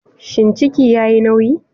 Shin ciki yayi nauyi?